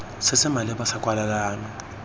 se se maleba sa kwalelano